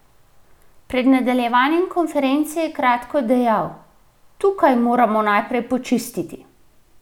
Pred nadaljevanjem konference je kratko dejal: "Tukaj moramo najprej počistiti.